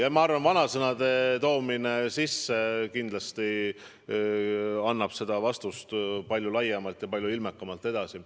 Ja ma arvan, et vanasõnade sissetoomine kindlasti annab vastust palju ilmekamalt edasi.